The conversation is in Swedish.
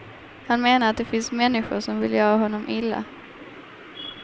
Han menar att det finns människor som vill göra honom illa.